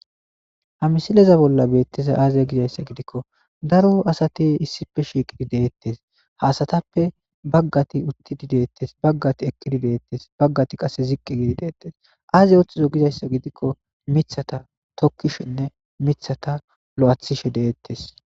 Ha misileza bolla beetteza aaze gizayssa gidikko daro asati issife shiiqidi deettes haasatappe baggati uttidi deettes baggati eqqidi deettes baggati qase ziqqi gidi deettes aaze ooththizo gizayssa gidikko mithata tokkishinne mithata lo'athishe deettes.